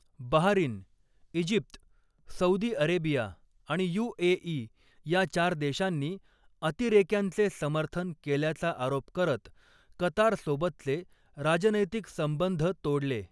Bahrain, Egypt, Saudi Arabia आणि UAE या चार देशांनी, अतिरेक्यांचे समर्थन केल्याचा आरोप करत कतारसोबतचे राजनैतिक संबंध तोडले.